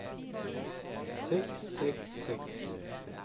seks seks seks